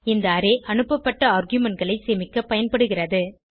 இந்த அரே அனுப்பப்பட்ட argumentகளை சேமிக்க பயன்படுகிறது